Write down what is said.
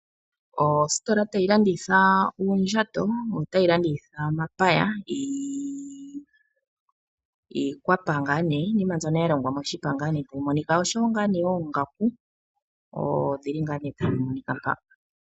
Ositola tayi landitha uundjato yotayi landitha omapaya, iikwapa ngaa nee. Iinima mbyono ya longwa moshipa ngaa nee, oshowo ngaa nee oongaku odhili ngaa nee tadhi monika mpa.